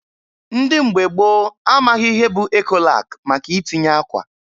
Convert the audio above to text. Ndị mgbe gboo amaghị ihe bụ Ekolak maka itinye akwa.